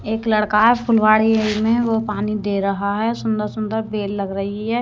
एक लड़का है फुलवाड़ी में वो पानी दे रहा है सुंदर सुंदर बेल लग रही है।